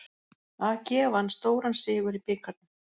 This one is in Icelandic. AG vann stóran sigur í bikarnum